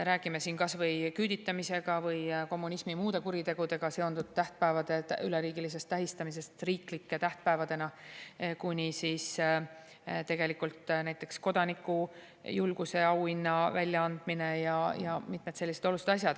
Räägime siin kas või küüditamisega või muude kommunismi kuritegudega seonduvate tähtpäevade üleriigilisest tähistamisest riiklike tähtpäevadena kuni näiteks kodanikujulguse auhinna väljaandmise ja mitmete selliste oluliste asjadeni.